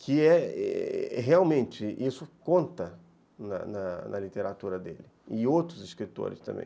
que realmente isso conta na na na literatura dele, e outros escritores também.